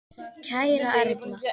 Kæra Erla.